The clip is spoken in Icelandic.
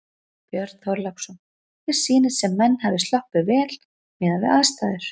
Björn Þorláksson: Þér sýnist sem menn hafi sloppið vel miðað við aðstæður?